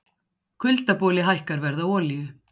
Kuldaboli hækkar verð á olíu